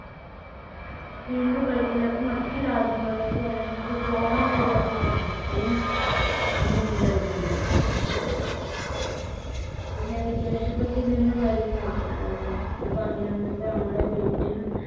വീണ്ടും gulf ലേക്കും മറ്റു രാജ്യങ്ങളിലേക്കും അല്ലെങ്കിലുമൊക്കെ പോകാൻ കഴിയാത്ത ഒരവസ്ഥയും അന്നുണ്ടായിട്ടുണ്ട്. പിന്നെ വിദേശത്തൊക്കെ നിന്ന് വരുന്ന ആഹ് ഞാൻ പറഞ്ഞിരുന്നു ഇപ്പോ നമ്മുടെ വീട്ടിൽ